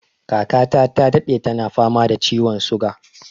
Kaka ta ta daɗe tana fama da ciwon suga